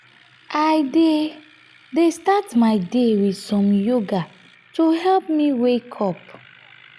i dey dey start my day with some yoga to help me wake up.